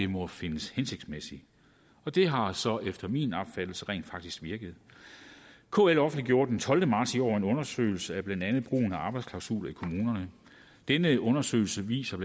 må findes hensigtsmæssigt det har så efter min opfattelse rent faktisk virket kl offentliggjorde den tolvte marts i år en undersøgelse af blandt andet brugen af arbejdsklausuler i kommunerne denne undersøgelse viser